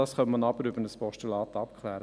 Das kann über ein Postulat abgeklärt werden.